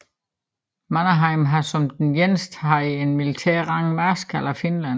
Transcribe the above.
Mannerheim har som den eneste haft den militære rang marskal af Finland